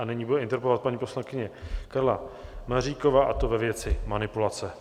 A nyní bude interpelovat paní poslankyně Karla Maříková, a to ve věci manipulace.